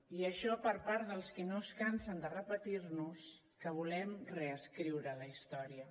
i això per part dels qui no es cansen de repetir nos que volem reescriure la història